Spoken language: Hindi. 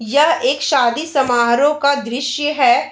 यह एक शादी समारोह का दृश्य है।